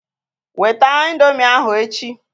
Weta ị̀ndómị́ ahụ echi!